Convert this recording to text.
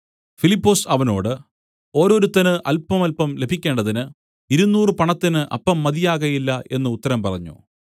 ഫിലിപ്പൊസ് അവനോട് ഓരോരുത്തന് അല്പമല്പം ലഭിക്കേണ്ടതിന് ഇരുനൂറ് പണത്തിന് അപ്പം മതിയാകയില്ല എന്നു ഉത്തരം പറഞ്ഞു